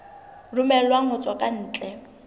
romellwang ho tswa ka ntle